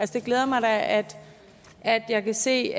det glæder mig da at at jeg kan se